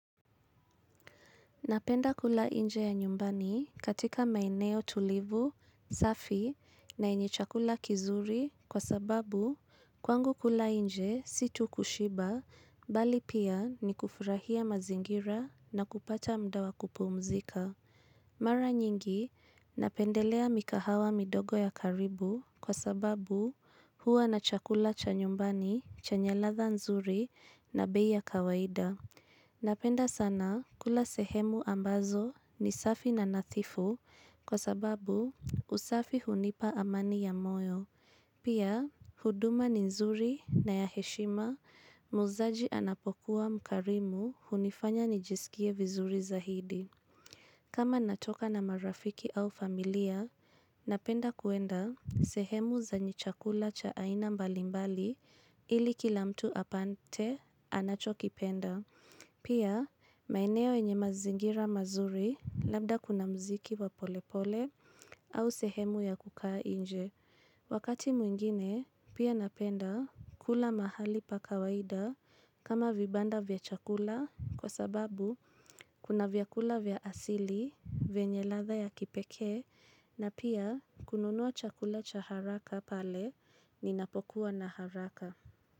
Napenda kula nje ya nyumbani katika maeneo tulivu, safi na yenye chakula kizuri kwa sababu kwangu kula nje sio tu kushiba bali pia ni kufurahia mazingira na kupata muda wa kupumzika. Mara nyingi napendelea mikahawa midogo ya karibu kwa sababu huwa na chakula cha nyumbani chenye ladha nzuri na bei ya kawaida. Napenda sana kula sehemu ambazo ni safi na nadhifu kwa sababu usafi hunipa amani ya moyo. Pia, huduma ni nzuri na ya heshima. Muuzaji anapokuwa mkarimu hunifanya nijisikie vizuri zaidi. Kama natoka na marafiki au familia, napenda kuenda sehemu zenye chakula cha aina mbalimbali ili kila mtu apate anachokipenda. Pia, maeneo yenye mazingira mazuri labda kuna muziki wa polepole au sehemu ya kukaa nje. Wakati mwingine, pia napenda kula mahali pa kawaida kama vibanda vya chakula kwa sababu kuna vyakula vya asili vyenye ladha ya kipekee na pia kununua chakula cha haraka pale ninapokuwa na haraka.